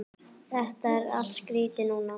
Þetta er allt skýrt núna.